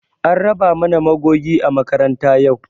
An raba mana magogi a makaranta yau